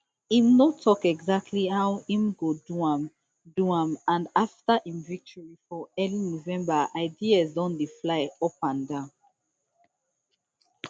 im no tok exactly how im go do am do am and afta im victory for early november ideas don dey fly upanda